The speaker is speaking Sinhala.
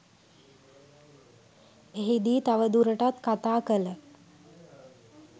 එහිදී තවදුරටත් කතා කළ